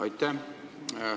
Aitäh!